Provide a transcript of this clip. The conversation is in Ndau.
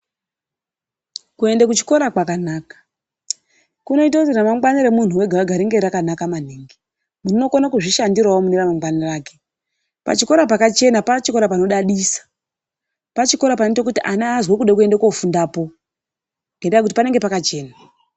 Kuenda kuchikora kwakanaka. Kunoita kuti ramangwana remundu wega wega ringe rakanaka maningi. Azokona kuzvishandirawo mune ramangwana make. Pachikora pakachena, pachikora panodadisa. Pachikora panoita kuti ana azwe kuda kofundapo ngenda yekuti panenge pakachena.